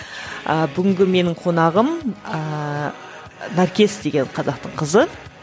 ы бүгінгі менің қонағым ыыы наркес деген қазақтың қызы